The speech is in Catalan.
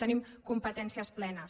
tenim competències plenes